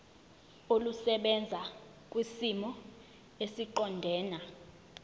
olusebenza kwisimo esiqondena